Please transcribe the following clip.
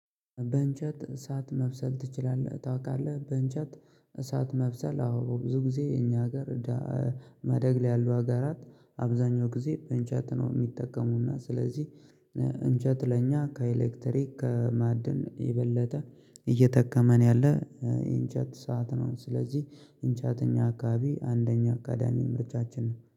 በእንጨት እሳት መብሰል ትችላለህ ታውቃለህ? በእንጨት እሳት መብሰል አዎ ብዙ ጊዜ እኛ ሀገር። መደግ ላይ ያሉ ሀገራት አብዛኛው ጊዜ እንጨት ነው የሚጠቀሙና ስለዚህ እንጨት ለኛ ከኤሌክትሪክ ከማዕድን የበለጠ እየጠከመን ያለ። እንጨት ሰዓት ነው ስለዚህ እንጨት እኛ አካባቢ አንደኛ አካዳሚ ምርጫችን ነው